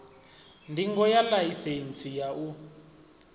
ndingo ya ḽaisentsi ya u